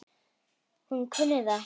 Hún kunni það ekki.